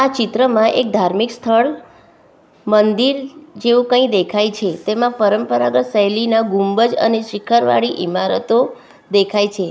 આ ચિત્રમાં એક ધાર્મિક સ્થળ મંદિર જેવું કંઈ દેખાય છે તેમાં પરંપરાગત શૈલીના ગુંબજ અને શિખરવાળી ઈમારતો દેખાય છે.